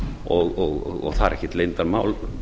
og það er ekkert leyndarmál